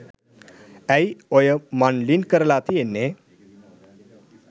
ඇයි ඔය මං ලින්ක් කරලා තියෙන්නේ